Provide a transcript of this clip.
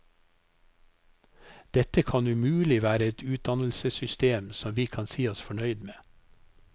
Dette kan umulig være et utdannelsessystem som vi kan si oss fornøyd med.